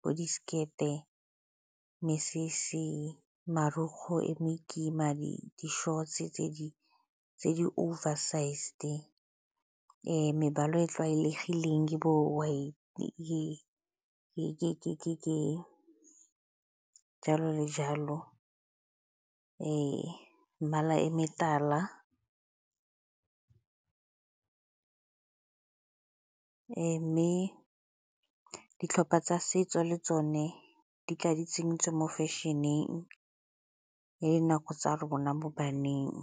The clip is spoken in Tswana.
bo di-skirt-e, mesese, marukgu e me kima, di-shorts-e tse di-over-sized. Mebala e e tlwaelegileng ke bo-white, jalo le jalo. mmala e metala mme ditlhopha tsa setso le tsone di tla di tsentswe mo fešeneng ya dinako tsa rona bo baneng.